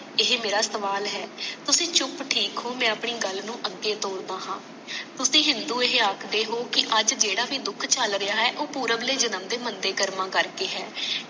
ਇਹ ਮੇਰਾ ਸਵਾਲ ਹੈ ਤੁਸੀ ਚੁੱਪ ਠੀਕ ਹੋ ਮੈਂ ਆਪਣੀ ਗੱਲ ਨੂੰ ਅਗੇ ਤੋਰਦਾ ਹਾਂ ਤੁਸੀ ਹਿੰਦੂ ਇਹ ਆਖਦੇ ਹੋ ਕਿ ਅੱਜ ਜੇਡਾ ਭੀ ਦੁੱਖ ਚਲ ਰਿਹਾ ਹੈ ਉਹ ਪੁਰਵਲੇ ਜਨਮ ਦੇ ਮੰਦੇ ਕਰਮਾਂ ਕਰਕੇ ਹੈ